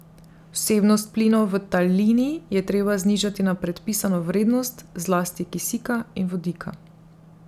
Vsebnost plinov v talini je treba znižati na predpisano vrednost, zlasti kisika in vodika.